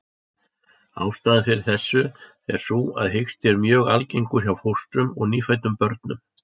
Ástæðan fyrir þessu er sú að hiksti er mjög algengur hjá fóstrum og nýfæddum börnum.